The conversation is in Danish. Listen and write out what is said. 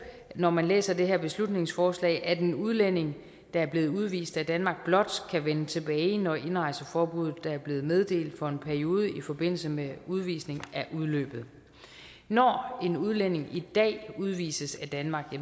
når man læser det her beslutningsforslag at en udlænding der er blevet udvist af danmark blot kan vende tilbage når indrejseforbuddet der er blevet meddelt for en periode i forbindelse med udvisningen er udløbet når en udlænding i dag udvises af danmark